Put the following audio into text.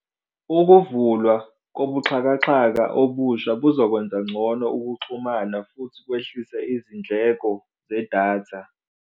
Ukuvulwa kobuxhakaxhaka obusha buzokwenza ngcono ukuxhumana futhi kwehlise izindleko zedatha.